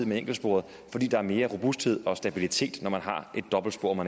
med enkeltsporet fordi der er mere robusthed og stabilitet når man har et dobbeltspor